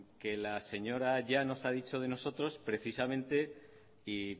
que la señora llanos ha dicho de nosotros precisamente y